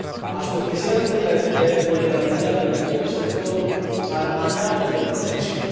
a su especial vulnerabilidad, pero también y, sobre todo, al mandato de protección.